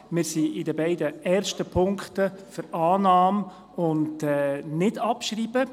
Wir sind in den beiden ersten Punkten für Annahme und Nichtabschreibung.